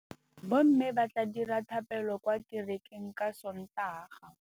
Bommê ba tla dira dithapêlô kwa kerekeng ka Sontaga.